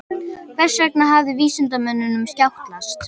Hvers vegna hafði vísindamönnunum skjátlast?